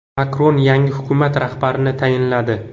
Makron yangi hukumat rahbarini tayinladi.